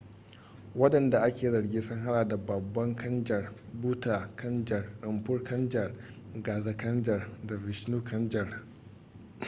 wadanda ake zargin sun hada da baba kanjar bhutha kanjar rampro kanjar gaza kanjar da vishnu kanjar